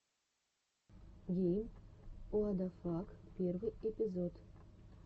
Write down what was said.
гейм уадафак первый эпизод